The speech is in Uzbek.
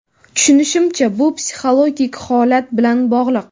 Tushunishimcha, bu psixiologik holat bilan bog‘liq.